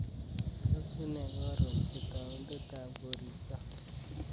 Tos unee karon itaundetab koristob